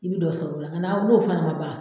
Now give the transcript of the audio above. I bɛ dɔ sɔrɔ o la o n'a n'o fana man ban